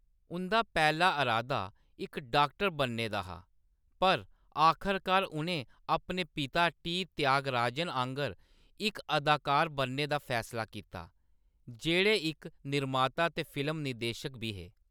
उंʼदा पैह्‌‌ला अरादा इक डाक्टर बनने दा हा, पर आखरकार उʼनें अपने पिता टी. त्यागराजन आंह्‌गर इक अदाकार बनने दा फैसला कीता, जेह्‌‌ड़े इक निर्माता ते फिल्म निर्देशक बी हे।